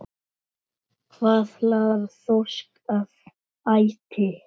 Hvað laðar þorsk að æti?